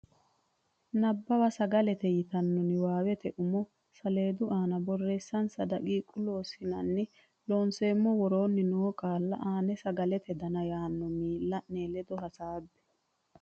Nabbawa Sagalete yitannota niwaawete umo saleedu aana borreessinsa daqiiqa Loossinanni Looseemmo woroonni noo qaalla aana Sagalete Dana yaanno miilla ne ledo hasaabbe.